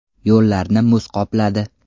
Yo‘llarni muz qopladi.